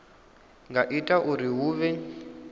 nga ita uri hu vhe